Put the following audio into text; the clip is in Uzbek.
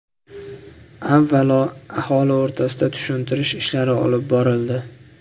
Avvalo, aholi o‘rtasida tushuntirish ishlari olib borildi.